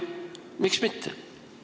Miks mitte?